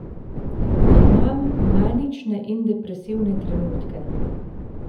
Imam manične in depresivne trenutke.